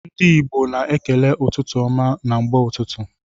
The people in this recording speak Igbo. Ndi igbo na ekele ụtụtụ ọma na mgbe ụtụtụ.